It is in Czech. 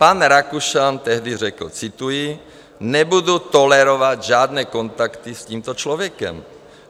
Pan Rakušan tehdy řekl - cituji: "Nebudu tolerovat žádné kontakty s tímto člověkem.